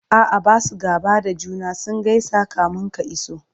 a'a Basu gaba da juna ,sun gaisa kamin ka iso